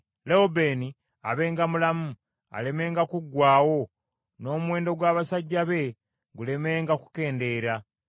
“Lewubeeni abenga mulamu; alemenga kuggwaawo n’omuwendo gw’abasajja be gulemenga kukendeera.”